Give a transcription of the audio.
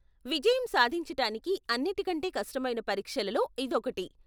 విజయం సాధించటానికి అన్నిటికంటే కష్టమైన పరీక్షలలో ఇదొకటి.